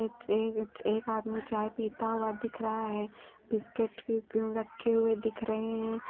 एक एक आदमी चाय पीता हुआ दिख रहा है बिस्किट रखे हुए दिख रहे हैं।